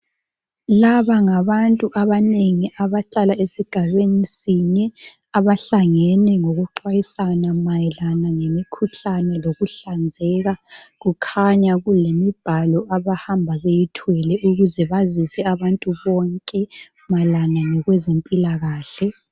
Laba ngabantu banengi abahlalal esigabeni sinye abahlangene ngokuxhwayisana mayelana lemikhuhlane lokuhlanzeka kukhanya kulemibhalo abahamba beyithwele ukuze bazise abantu bonke mayelana ngokwezempilakahle.